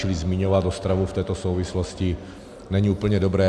Čili zmiňovat Ostravu v této souvislosti není úplně dobré.